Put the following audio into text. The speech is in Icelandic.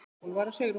Úlfar og Sigrún.